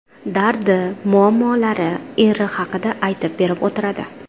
Dardi, muammolari, eri haqida aytib berib o‘tiradi.